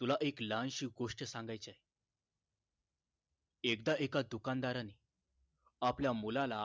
तुला एक लहानशी गोष्ट सांगायची आहे एकदा एका दुकान दाराने आपल्या मुलाला